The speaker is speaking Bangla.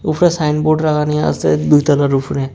উফরে সাইনবোর্ড লাগানি আসে দুইতলার উফরে।